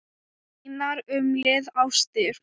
Mínar umliðnu ástir